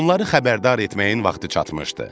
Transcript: Onları xəbərdar etməyin vaxtı çatmışdı.